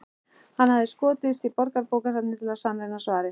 Hann hafði skotist á Borgarbókasafnið til að sannreyna svarið.